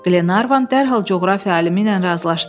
Qlenarvan dərhal coğrafiya alimi ilə razılaşdı.